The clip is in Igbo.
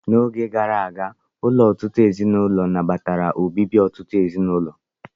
N'oge gara aga, ụlọ ọtụtụ ezinụlọ nabatara obibi ọtụtụ ezinụlọ.